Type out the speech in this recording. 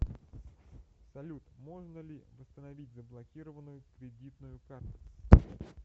салют можно ли восстановить заблокированную кредитную карту